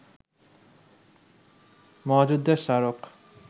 মহাযুদ্ধের স্মারক